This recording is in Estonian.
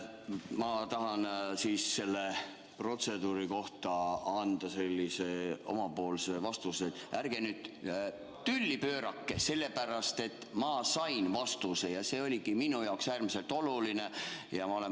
Ma tahan selle protseduuri kohta anda omapoolse vastuse: ärge nüüd tülli pöörake, ma sain vastuse ja see oligi minu jaoks äärmiselt oluline.